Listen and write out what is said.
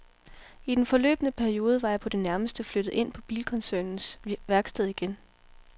I den forløbne periode var jeg på det nærmeste flyttet ind på bilkoncernens værksted igen.